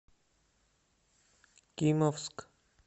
кимовск